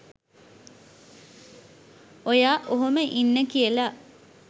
ඔයා ඔහොම ඉන්න කියලා